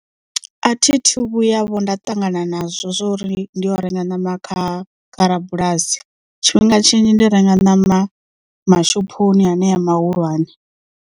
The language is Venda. A thi thu vhuya vho nda ṱangana nazwo zwori ndi yo renga ṋama kha kha rabulasi tshifhinga tshinzhi ndi renga ṋama mashophoni haneya mahulwane.